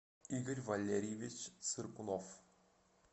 игорь валерьевич цыркунов